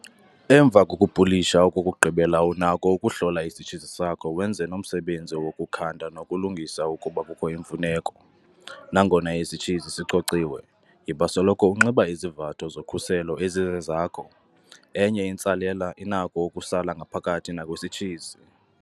Emva kokupulisha okokugqibela unakho ukuhlola isitshizi sakho wenze nomsebenzi wokukhanda nokulungisa ukuba kukho imfuneko. Nangona isitshizi sicociwe, yiba soloko unxiba izivatho zokhuselo ezizezakho. Enye intsalela inakho ukusala ngaphakathi nakwisitshizi.